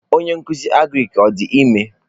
Onye nkuzi agrik ọ dị ime?